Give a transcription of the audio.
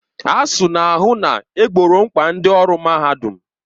ASUU na-ahụ na egboro mkpa ndị ọrụ mahadum